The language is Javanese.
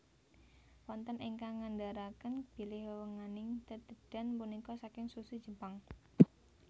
Wonten ingkang ngandharaken bilih wewenganing tetedhan punika saking sushi Jepang